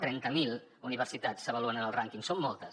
trenta mil universitats s’avaluen en el rànquing són moltes